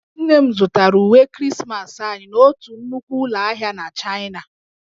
Nne m zụtara uwe Krismasị anyị n'otu nnukwu ụlọ ahịa na Chaịna